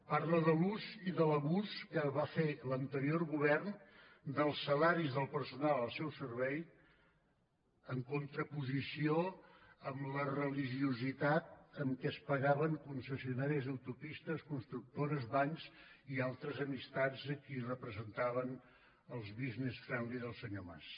parla de l’ús i de l’abús que va fer l’anterior govern dels salaris del personal al seu servei en contraposició amb la religiositat amb què es pagaven concessionàries d’autopistes constructores bancs i altres amistats a qui representaven els business friendly del senyor mas